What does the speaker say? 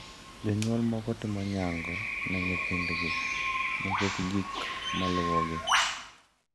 Jonyuol moko timo nyango ne nyithindgi nikech gik maluwogi.